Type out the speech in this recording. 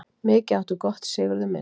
Mikið áttu gott, Sigurður minn.